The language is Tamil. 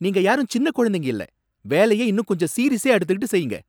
நீங்க யாரும் சின்ன குழந்தைங்க இல்லை! வேலையை இன்னும் கொஞ்சம் சீரியசா எடுத்துக்கிட்டு செய்யுங்க.